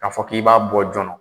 K'a fɔ k'i b'a bɔ joona